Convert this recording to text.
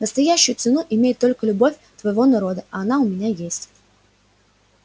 настоящую цену имеет только любовь твоего народа а она у меня есть